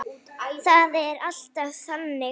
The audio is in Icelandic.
Það er alltaf þannig.